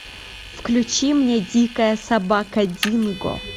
включи мне дикая собака динго